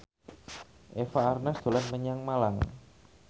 Eva Arnaz dolan menyang Malang